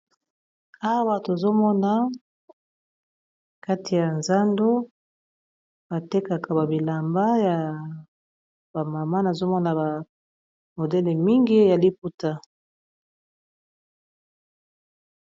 Awa tozomona kati ya zando batekaka babilamba ya bamama nazomona bamodele mingi ya liputa?